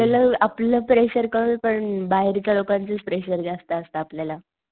आपल्याला आपलं प्रेशर कमी पण बाहेरच्या लोकांचच प्रेशर जास्त असत आपल्याला.